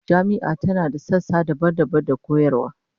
Jami'ar tana da sassa daban-daban da koyarwa